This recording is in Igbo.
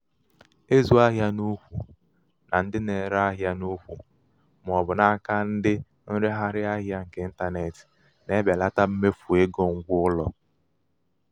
ịzụ ahịa n'ùkwù na ndị ahịa na-ere n'ùkwù ma ọ bụ n'aka ndị nregharị ahịa nke ịntanetị na-ebelata mmefu égo ngwa ụlọ.